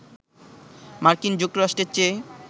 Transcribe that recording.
মার্কিন যুক্তরাষ্ট্রের চেয়ে